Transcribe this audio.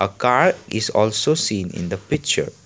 a car is also seen in the picture.